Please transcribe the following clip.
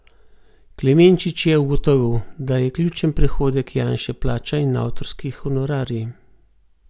Klemenčič je ugotovil, da je ključen prihodek Janše plača in avtorski honorarji.